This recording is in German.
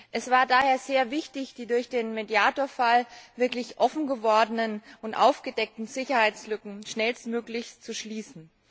Es war daher sehr wichtig, die durch den Mediator Fall wirklich offen gewordenen und aufgedeckten Sicherheitslücken schnellstmöglich zu schließen.